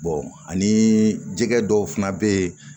ani jɛgɛ dɔw fana bɛ yen